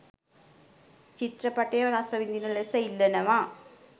චිත්‍රපටය රසවිඳින ලෙස ඉල්ලනවා.